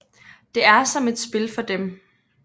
Det er som et spil for dem